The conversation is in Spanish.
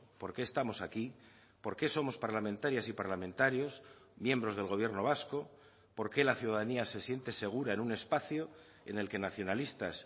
por qué estamos aquí por qué somos parlamentarias y parlamentarios miembros del gobierno vasco por qué la ciudadanía se siente segura en un espacio en el que nacionalistas